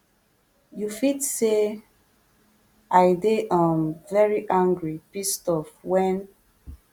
you fit say i dey um very angry pissed off wen